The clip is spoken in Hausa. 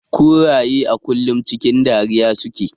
Kuraye a kullum cikin dariya suke.